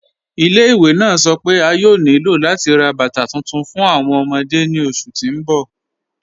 Ilẹ̀-ìwé naa sọ́ pe a yòò ní ilò lati rá bátà tuntun fún awọn ọmọdé ni oṣù tí n bọ̀.